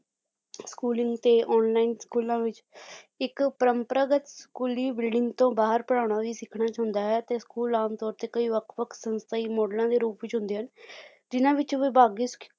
schooling ਤੇ online ਸਕੂਲਾਂ ਵਿੱਚ ਇੱਕ ਪਰੰਪਰਾਗਤ ਸਕੂਲੀ building ਤੋਂ ਬਾਹਰ ਪੜ੍ਹਾਉਣਾ ਵੀ ਸਿੱਖਣਾ ਚਾਹੁੰਦਾ ਹੈ ਤੇ ਆਮ ਤੌਰ ਤੇ ਕਈ ਵੱਖ ਵੱਖ ਸੰਸਥਾਈ ਮੋਡਲਾਂ ਦੇ ਰੂਪ ਵਿੱਚ ਹੁੰਦੇ ਹਨ ਜਿੰਨਾ ਵਿੱਚ ਵਿਭਾਗੀ